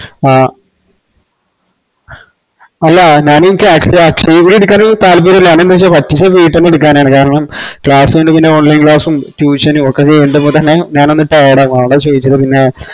ആഹ് അല്ല ഞാന് എനിക്ക് അക്ഷ അക്ഷയെ പോയി എടുക്കാൻ താല്പര്യയില്ല പറ്റുച്ച വീട്ട്ന്ന് എടുക്കാനാണ് കാരണം class കയിഞ്ഞിറ്റ് online class ഉം tuition ഉം ഓക്കെ ചെയ്യുമ്പോ തന്നെ ഞാനൊന്ന് tired ആവും അഓണ്ട ചോയ്ക്ക്ന്നേ പിന്നെ